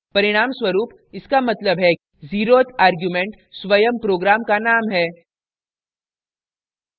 परिणामस्वरूप इसका मतलब है zeroth argument स्वमं program का name है